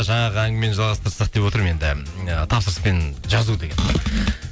жаңағы әңгімені жалғастырсақ деп отырмын енді тапсырыспен жазу деген